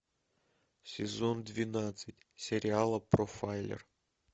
сезон двенадцать сериала профайлер